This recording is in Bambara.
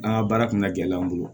An ka baara kun ka gɛlɛn an bolo